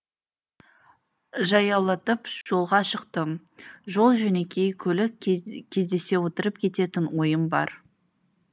жаяулатып жолға шықтым жол жөнекей көлік кездессе отырып кететін ойым бар